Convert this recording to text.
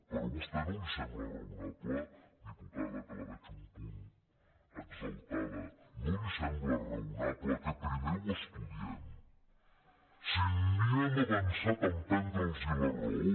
però a vostè no li sembla raonable diputada que la veig un punt exaltada no li sembla raonable que primer ho estudiem si ni hem avançat en prendre’ls la raó